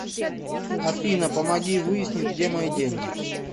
афина помоги выяснить где мои деньги